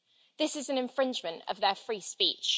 This is an infringement of their free speech.